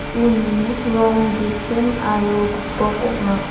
uni rong gisim aro gipok ong·a.